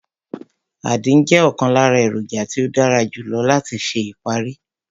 Àdín jẹ́ ọ̀kan lára èròjà tí ó dára jù lọ láti ṣe ìparí